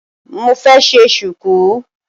Mo fẹ́ ṣe Ṣùkú